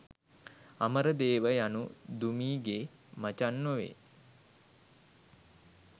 අමරදේව යනු දුමී ගේ මචං නොවේ